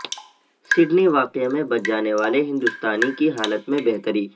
Sydney واقعہ میں بچ جانے والے ہندوستانی کی حالت میں بہتری